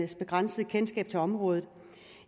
begrænsede kendskab til området